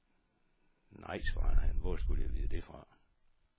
Nej, svarede han, hvor skulle jeg vide det fra.